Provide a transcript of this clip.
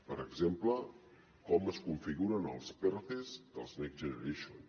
per exemple com es configuren els pertes dels next generation